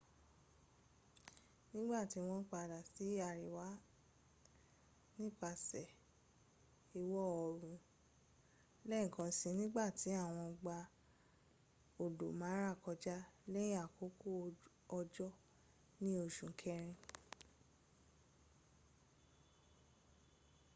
nìgbàtí wọ́n padà sí àríwá nípasẹ̀ ìwọ oòrùn lẹ́ẹ̀kan si nígbàtí wọ́n gba odò mara kọjá lẹ́yìn àkókò òjò ní oṣù kẹrin